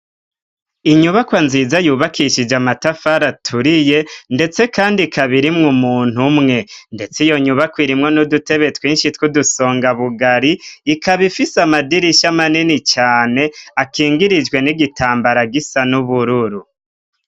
Inyubakwa nziza yubakishije amatafari aturiye ndetse kandi ikaba irimwo umuntu umwe. Ndetse iyo nyubakwa irimwo n'udutebe twinshi tw' udusonga bugari ikaba ifise amadirisha amanini cane akingirijwe n'igitambara gisa n'ubururu.